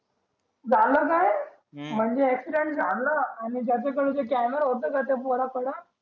झाला काय हम्म म्हणजे accident झाल आणि ज्याचा कडे तो camera होता ना त्या पोरं कडे